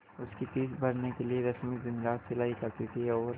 उसकी फीस भरने के लिए रश्मि दिनरात सिलाई करती थी और